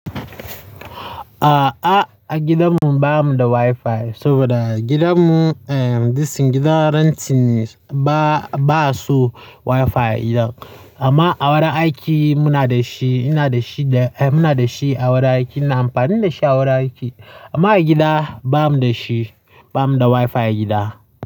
A'a, a gidanmu ba mu da Wi-Fi saboda gidanmu, this gidan renting ne, ba, ba su Wi-Fi gidan. Amma a wurin aiki muna da shi, ina da shi da, muna da shi a wurin aiki. Ina amfani da shi a wurin aiki. Amma a gida ba mu da shi, ba mu da Wi-Fi a gida.